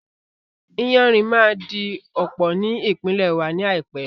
Iyanrìn máa di ọ̀pọ̀ ní ìpínlè wa ní àìpé